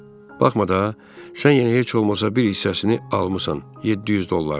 Baxma da, sən yəni heç olmasa bir hissəsini almısan, 700 dollarını.